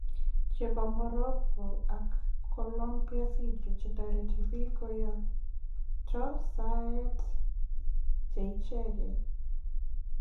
Chobe Morroco ak Colombia video che tareti biik koyakto saet che icheek